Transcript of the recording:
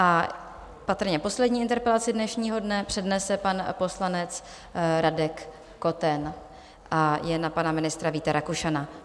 A patrně poslední interpelaci dnešního dne přednese pan poslanec Radek Koten a je na pana ministra Víta Rakušana.